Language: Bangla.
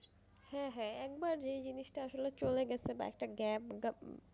হ্যাঁ হ্যাঁ একবার যেই জিনিসটা আসলে চলে গেছে বা একটা gap